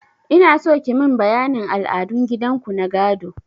Inaso kimin bayanin al'adun gidan ku na gado.